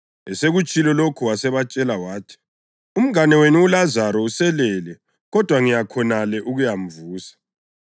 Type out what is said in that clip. Esekutshilo lokhu wasebatshela wathi, “Umngane wethu uLazaro uselele kodwa ngiya khonale ukuyamvusa.”